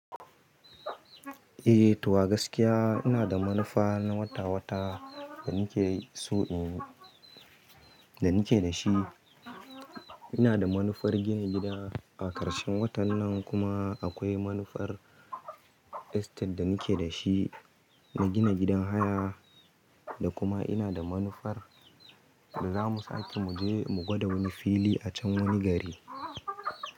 Eh, tuwa gaskiya ina da manufa na wata-wata da nake so in, da nake da shi. Ina da manufar gina gida a ƙarshen watan nan kuma akwai manufar estate da nake da shi na gina gidan haya da kuma ina da manufar zamu sake muje mu gwada wani fili a can wani gari.